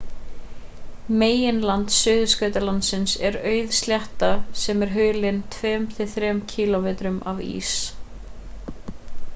meginland suðurskautslandsins er auð slétta sem er hulin 2-3 km af ís